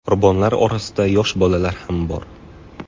Qurbonlar orasida yosh bolalar ham bor.